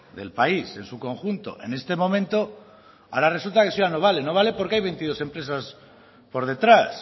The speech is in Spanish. del país en su conjunto en este momento ahora resulta que eso ya no vale no vale porque hay veintidós empresas por detrás